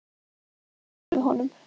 Þeir lögðu fé til höfuðs honum.